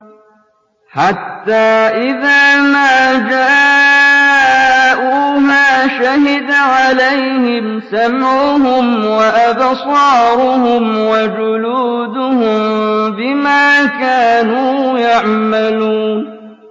حَتَّىٰ إِذَا مَا جَاءُوهَا شَهِدَ عَلَيْهِمْ سَمْعُهُمْ وَأَبْصَارُهُمْ وَجُلُودُهُم بِمَا كَانُوا يَعْمَلُونَ